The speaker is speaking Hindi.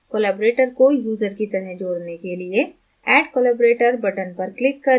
collaborator को यूज़र की तरह जोड़ने के लिए add collaborator button पर click करें